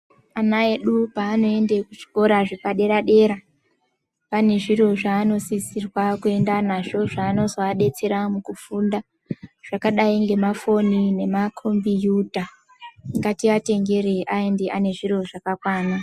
Ana edu paanoenda kuchikora zvepadera Dera pane zviro zvaanosisirwa kuenda nazvo zvinozoadetsera mukufunda zvakadai ngemafoni nemakombiyuta ngatiatengerei aende ane zviro zvakakwana.